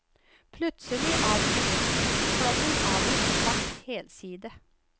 Plutselig avbrytes tekstflommen av en svart helside.